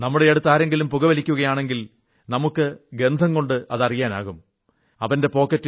നമ്മുടെ അടുത്ത് ആരെങ്കിലും പുക വലിക്കുകയാണെങ്കിൽ നമുക്ക് ഗന്ധംകൊണ്ട് അത് അറിയാനാകും എന്ന് നിങ്ങൾക്കറിയാമല്ലോ